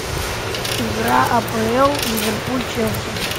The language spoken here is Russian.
игра апл ливерпуль челси